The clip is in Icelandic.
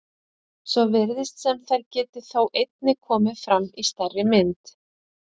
Svo virðist sem þær geti þó einnig komið fram í stærri mynd.